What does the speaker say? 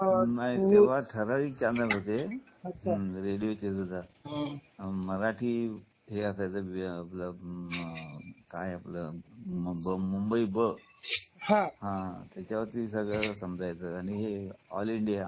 नाही तेंव्हा ठराविक चॅनेल होते मराठी हे असायच काय आपलं असायचं मुंबई ब हा त्याच्या वरती सगळ्याना समजायचं आणि ऑल इंडिया